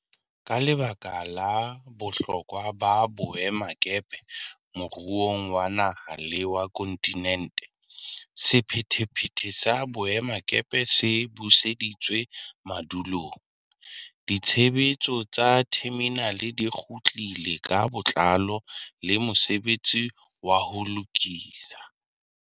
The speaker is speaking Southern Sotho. Ka lebaka la bohlokwa ba boemakepe moruong wa naha le wa kontinente, sephethephethe sa boemakepeng se buseditswe madulong, ditshebetso tsa theminale di kgutlile ka botlalo le mosebetsi wa ho lokisa.